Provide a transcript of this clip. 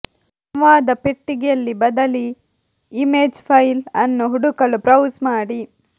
ಸಂವಾದ ಪೆಟ್ಟಿಗೆಯಲ್ಲಿ ಬದಲಿ ಇಮೇಜ್ ಫೈಲ್ ಅನ್ನು ಹುಡುಕಲು ಬ್ರೌಸ್ ಮಾಡಿ